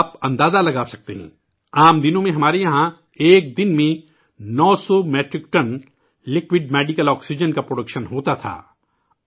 آپ اندازہ لگا سکتے ہیں، عام دنوں میں ہمارے یہاں ایک دن میں 900 میٹرک ٹن، مائع طبی آکسیجن کی پیداوار ہوتی تھی